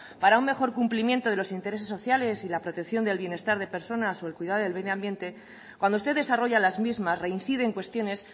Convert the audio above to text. para un mejor cumplimiento de los intereses sociales y la protección del bienestar de personas o cuidado del medio ambiente cuando usted desarrolla las mismas reincide en cuestiones